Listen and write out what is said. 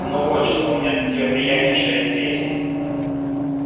ну вот что у меня для тебя приятнейшее известие